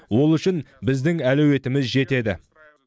ол үшін біздің әлеуетіміз жетеді